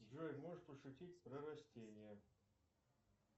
джой можешь пошутить про растения